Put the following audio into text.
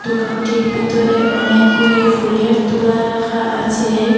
দোকানটির বিতরে অনেকগুলি ফুলের তুরা রাখা আছে।